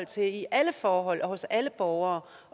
til i alle forhold og hos alle borgere